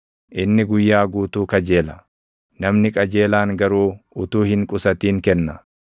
Inni guyyaa guutuu kajeela; namni qajeelaan garuu utuu hin qusatin kenna.